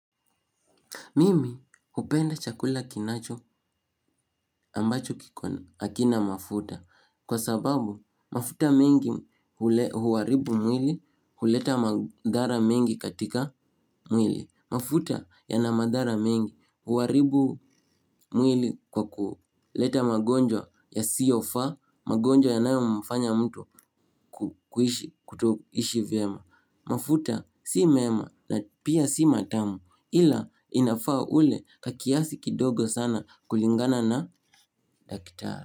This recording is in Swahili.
Mimi hupenda chakula kinacho ambacho kiko hakina mafuta. Kwa sababu mafuta mengi huharibu mwili huleta madhara mengi katika mwili. Mafuta yana madhara mengi huharibu mwili kwa kuleta magonjwa yasiofaa, magonjwa yanayo mfanya mtu kuishi kuto ishi vyema. Mafuta si mema na pia si matamu ila inafaa ule kakiasi kidogo sana kulingana na daktari.